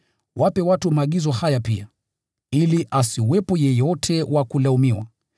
Wape watu maagizo haya pia, ili asiwepo yeyote wa kulaumiwa.